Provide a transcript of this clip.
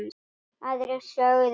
Aðrir sögðu: